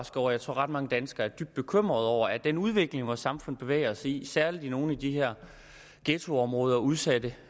tror at ret mange danskere er dybt bekymrede over er den udvikling vores samfund bevæger sig i særlig i nogle af de her ghettoområder og udsatte